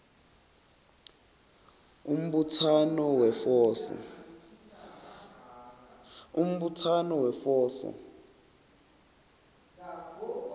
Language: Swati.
umbutsano wefoso